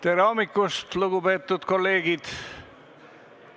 Tere hommikust, lugupeetud kolleegid!